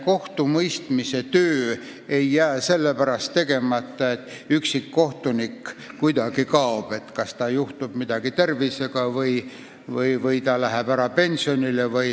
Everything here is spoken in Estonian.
Kohtumõistmise töö ei jää sellepärast tegemata, kui mõni üksik kohtunik kaob – kas tal juhtub midagi tervisega või läheb ta ära pensionile.